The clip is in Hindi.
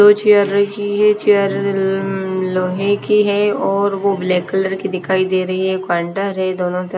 दो चेयर रखी हैं चेयर उम्म लोहे की है और वो ब्लैक कलर की दिखाई दे रही है है दोनों--